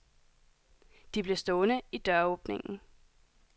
De blev stående i døråbningen.